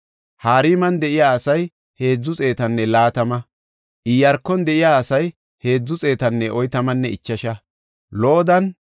Pengiya naagiya Saluma, Axeera, Talmoona, Aquba, Hatitanne Shobaya yarati 138.